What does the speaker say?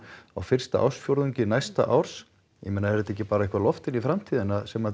á fyrsta ársfjórðungi næsta árs ég meina er þetta ekki bara eitthvað loft inn í framtíðina sem